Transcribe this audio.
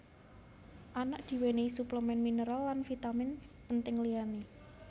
Anak diwènèhi suplemèn mineral lan vitamin penting liyané